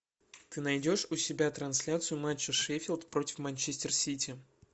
ты найдешь у себя трансляцию матча шеффилд против манчестер сити